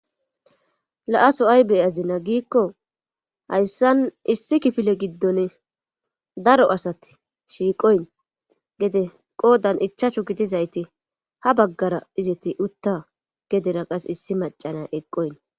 la aso ayi be'azina giikko hayssan issi kifile giddon daro asati shiiqoyn gede qoodan ichachu gidizayti ha baggara izeti utta gedera qas issi macana eqoyn